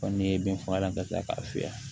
Ko ni ye bin fagalan ka tila k'a fiyɛ